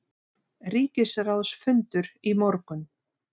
Ríkisráðsfundur í morgun